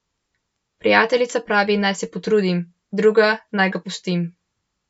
Prijateljica pravi, naj se potrudim, druga, naj ga pustim.